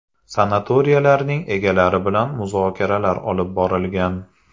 Sanatoriylarning egalari bilan muzokaralar olib borilgan.